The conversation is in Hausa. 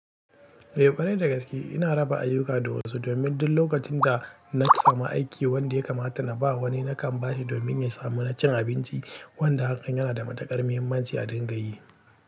E kwarai da gaske ina raba ayuka da wasu domin duk lokacin da na samu aiki wanda ya kamata na ba wani nakan ba shi domin ya samu na cin abinci wanda hakan yana da matuƙar muhimmanci a dingayi.